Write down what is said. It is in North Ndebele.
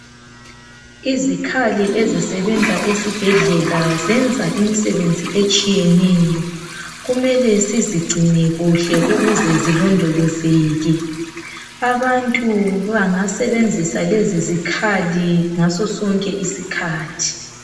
Izikhali ezisebenza esibhedlela zenza imisebenzi etshiyeneyo. Kumele sizigcine kuhle ukuze zilondolozeke. Abantu bangasebenzisa lezi zikhali ngaso sonke isikhathi.